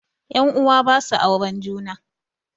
Ƴan uwa basu auren juna